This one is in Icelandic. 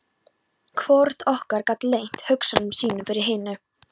Hvorugt okkar gat leynt hugsunum sínum fyrir hinu.